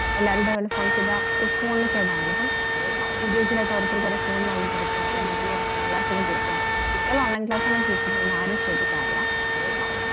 എല്ലാരുടെ phone കേടാണല്ലോ അപ്പം individual ആയിട്ട് ഓരോരുത്തർക്ക് phone വായിങ്ങോടുക്കുക എന്നിട്ട് അങ്ങനെ online class കൊക്കെ കേൾക്കായ് കുട്ടിയൾ online class ആണോ കേള്കുന്നതെന്ന് ആരും ശ്രദ്ധകാറില്ല